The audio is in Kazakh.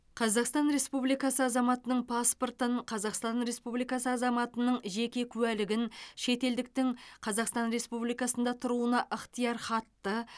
қазақстан республикасы азаматының паспортын қазақстан республикасы азаматының жеке куәлігін шетелдіктің қазақстан республикасында тұруына ықтиярхатты